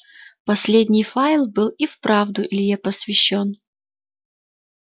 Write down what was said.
последний файл был и вправду илье посвящён